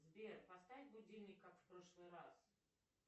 сбер поставь будильник как в прошлый раз